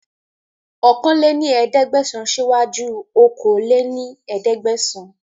ọ̀kan lé ní ẹ̀ẹ́dẹ́gbẹ́sán sì wá ju okòó lé ní ẹ̀ẹ́dẹ́gbẹ́sán